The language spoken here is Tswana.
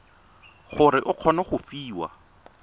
gore o kgone go fiwa